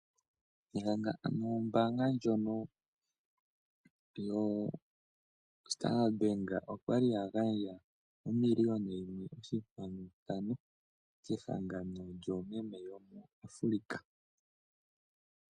Ombaanga ndjono yoStandard Bank oya li ya gandja omiliona yimwe oshinkwanu ntano kehangano lyoomeme yomuAfrika.